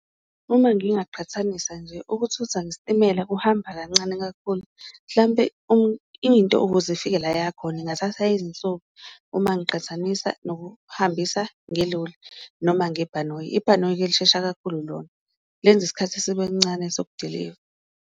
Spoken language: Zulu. Uma ngingaqhathanisa nje ukuthutha ngesitimela kuhamba kancane kakhulu mhlampe into ukuze ifike la yakhona ingathatha izinsuku, uma ngiqhathanisa nokuhambisa ngeloli noma ngebhanoyi, ibhanoyi-ke lishesha kakhulu lona lenza isikhathi sibe ncane sokudiliva.